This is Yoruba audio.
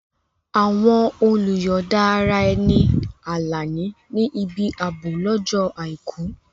Àwọn olùyọ̀da ara ẹni Alani ní ibi ààbò lọ́jọ́ Àìkú.